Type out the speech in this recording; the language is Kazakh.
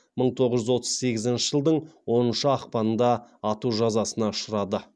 мың тоғыз жүз отыз сегізінші жылдың оныншы ақпанында ату жазасына ұшырады